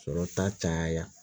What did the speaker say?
Sɔrɔ ta caya